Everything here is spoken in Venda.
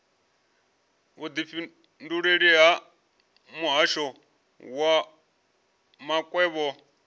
vhudifhinduleleli ha muhasho wa makwevho